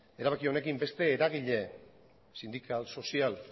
erabaki honekin beste eragile sindikal sozial